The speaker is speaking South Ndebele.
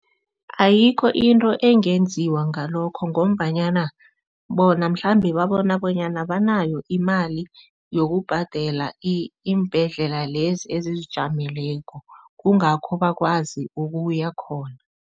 Ayikho into engenziwa ngalokho ngombanyana bona mhlambe babona bonyana banayo imali yokubhadela iimbhedlela lezi ezizijameleko, kungakho bakwazi ukuyakhona.